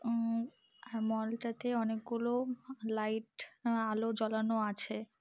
উম mall - টাতে অনেকগুলি লাইট আলো জ্বালানো আছে।